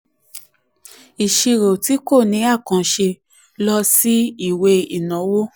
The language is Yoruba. ìṣirò tí kò ní ní àkànṣe lọ sí ìwé ìnáwó.